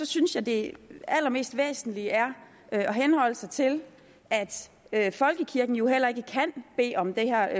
synes jeg det allermest væsentlige er at henholde sig til at folkekirken jo heller ikke kan bede om det her